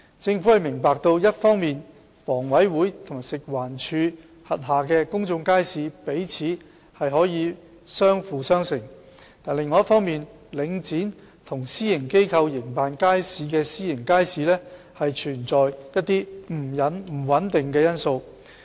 政府明白一方面，房委會和食環署轄下的公眾街市彼此可相輔相成，但另一方面，領展和私營機構營辦的私營街市存在不穩定因素。